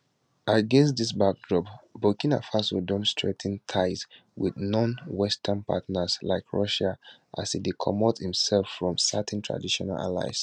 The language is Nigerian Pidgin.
against dis backdrop burkina faso don strengthen ties wit nonwestern partners like russia as e dey comot imsef from certain traditional allies